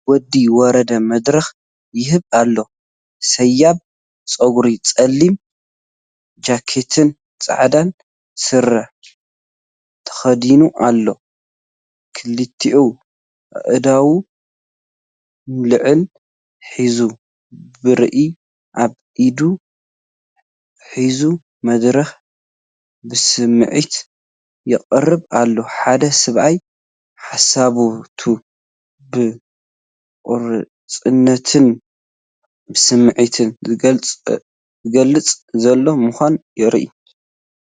ወዲ ወረደ መደረ ይህብ ኣሎ። ሰያብ ጸጉሩ፡ ጸሊም ጃኬትን ጻዕዳ ስረ ተኸዲኑ ኣሎ። ክልቲኡ ኣእዳዉ ንላዕሊ ሒዙ፡ ብርዒ ኣብ ኢዱ ሒዙ፡ መደረኡ ብስምዒት የቕርብ ኣሎ። ሓደ ሰብኣይ ሓሳባቱ ብቆራጽነትን ብስምዒትን ዝገልጽ ዘሎ ምዃኑ የርኢ።